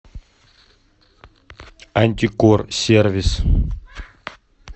антикор сервис